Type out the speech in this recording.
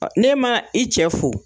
Ne ma i cɛ fo.